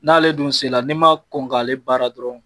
N'ale dun se la n'i ma kɔn k'ale baara dɔrɔn